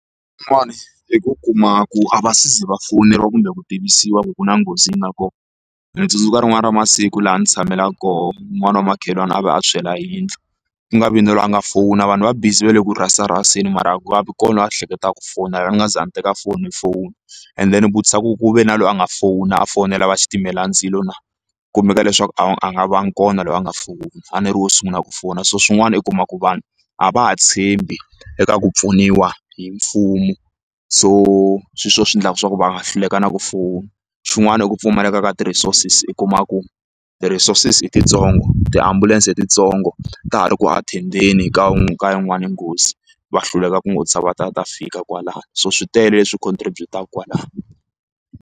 i ku kuma ku a va ze va fowuneriwa kumbe ku tivisiwa ku ku na nghozi leyi nga kona ni tsundzuka rin'wani ra masiku laha ndzi tshamelaku kona un'wani wa makhelwani a va a tshwela hi yindlu ku nga vi na loyi a nga fowuna vanhu va busy va le ku rhasa rhaseni mara a ku vi kona loyi a ehleketaka ku fowunela ni nga za ni teka fowuna and then u vutisa ku ku ve na loyi a nga fowuni a fowunela va xitimelandzilo na ku kumeka leswaku a nga vangi kona loyi a nga fowuna ani ri wo sungula ku fowuna so swin'wana i kuma ku vanhu a va ha tshembi eka ku pfuniwa hi mfumo so swilo swo swi endlaka swa ku va nga hluleka na ku fona xin'wana i ku pfumaleka ka ti-resources u kuma ku ti-resources i titsongo tiambulense i tintsongo ta ha ri ku athendeni ka wun'we ka yin'wani nghozi va hluleka ku nghotlisa va ta ta fika kwalano so swi tele leswi contribut-aka kwalano.